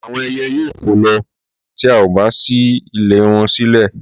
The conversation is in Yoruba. àwọn ẹyẹ yóò fò lọ ti o bá ṣí ilé wọn sílẹ̀